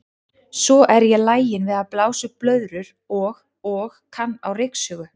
Svo er ég lagin við að blása upp blöðrur og og kann á ryksugu.